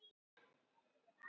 """Ókei, allt í lagi."""